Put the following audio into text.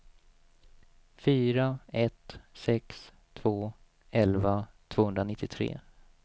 fyra ett sex två elva tvåhundranittiotre